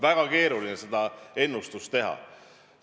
Väga keeruline on seda ennustada.